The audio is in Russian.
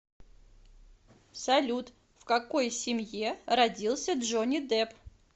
салют в какой семье родился джонни депп